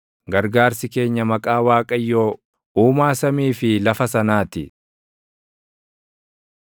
Gargaarsi keenya maqaa Waaqayyoo, Uumaa samii fi lafa sanaa ti.